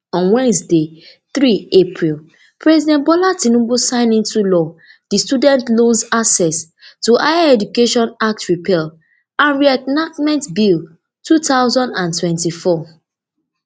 on wednesday three april president bola tinubu sign into law di student loans access to higher education act repeal and reenactment bill two thousand and twenty-four